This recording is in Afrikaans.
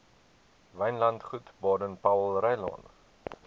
wynlandgoed baden powellrylaan